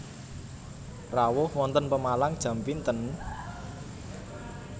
Rawuh wonten Pemalang jam pinten?